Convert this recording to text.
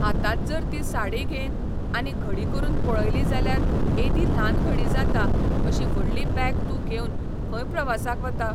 हातांत जर ती साडी घेन आनी घडी करून पळयली जाल्यार एदी ल्हान घडी जाता अशी व्हडली बेग तूं घेवन खंय प्रवासाक वता